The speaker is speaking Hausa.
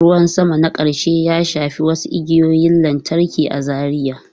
Ruwan sama na ƙarshe ya shafi wasu igiyoyin lantarki a Zaria.